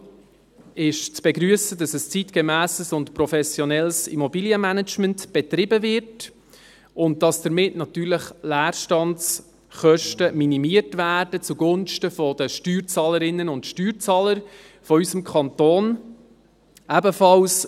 Vor allem ist zu begrüssen, dass ein zeitgemässes und professionelles Immobilienmanagement betrieben wird und damit natürlich Leerstandskosten zugunsten der Steuerzahlerinnen und Steuerzahler unseres Kantons minimiert werden.